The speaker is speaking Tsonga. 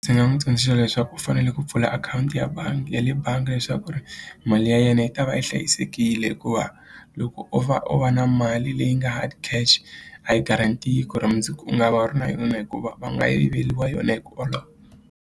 Ndzi nga n'wi tsundzuxa leswaku u fanele ku pfula akhawunti ya bangi ya le bangi leswaku ku ri mali ya yena yi ta va yi hlayisekile hikuva loko o va u va na mali leyi nga ha hard cash a yi guaranteed ku ri mundzuku u nga va u ri na yona hikuva va nga yiveriwa yona hi ku .